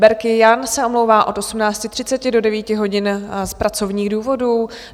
Berki Jan se omlouvá od 18.30 do 9 hodin z pracovních důvodů.